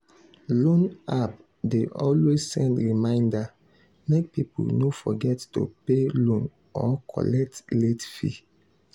loan app dey always send reminder make people no forget to pay loan or collect late fee.